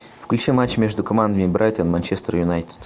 включи матч между командами брайтон манчестер юнайтед